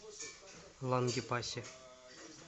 лангепасе